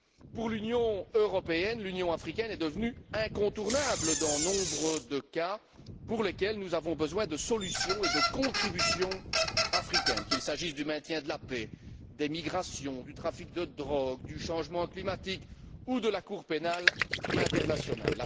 Pour l'Union européenne, l'Union africaine est devenue incontournable dans nombre de cas pour lesquels nous avons besoin de solutions et de contributions africaines, qu'il s'agisse du maintien de la paix, des migrations, du trafic de drogue, du changement climatique ou de la Cour pénale internationale.